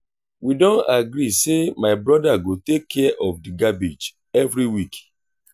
we don agree say my brother go take care of the garbage every week.